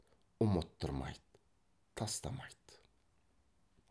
ұмыттырмайды тастамайды